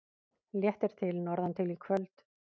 Léttir til norðantil í kvöld